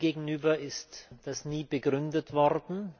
Mir gegenüber ist das nie begründet worden.